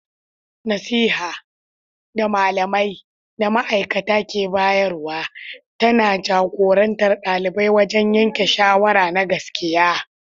Nasiha, da malamai da ma'aikata ke bayarwa, tana jagorantar xalibai wajen yanke shawara na gaskiya.